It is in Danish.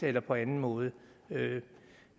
eller på anden måde